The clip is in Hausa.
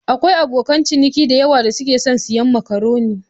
Akwai abokan ciniki da yawa da suke son siyan makaroni.